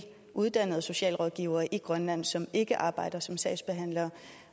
uddannede socialrådgivere i grønland som ikke arbejder som sagsbehandlere